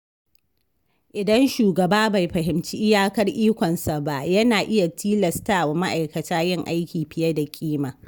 Idan shugaba bai fahimci iyakar ikonsa ba, yana iya tilastawa ma’aikata yin aiki fiye da ƙima.